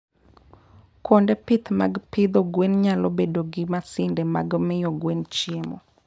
kuonde pith mag pidho gwen nyalo bedo gi masinde mag miyo gwen chiemo.